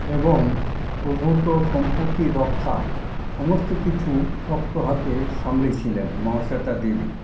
এবং প্রভূত সম্পত্তি রক্ষা সমস্ত কিছু শক্ত হাতে সামলে ছিলেন মহাশ্বেতা দেবী।